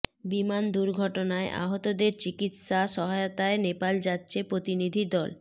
বিমান দুর্ঘটনায় আহতদের চিকিৎসা সহায়তায় নেপাল যাচ্ছে প্রতিনিধি দল